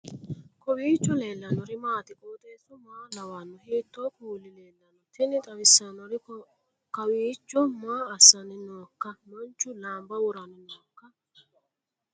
kowiicho leellannori maati ? qooxeessu maa lawaanno ? hiitoo kuuli leellanno ? tini xawissannori kawiicho maa assanni nooikka manchu laanba woranni nooikka